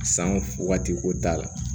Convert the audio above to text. San waati ko t'a la